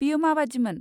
बेयो माबादिमोन?